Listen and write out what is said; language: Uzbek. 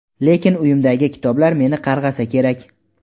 lekin uyimdagi kitoblar meni qarg‘asa kerak..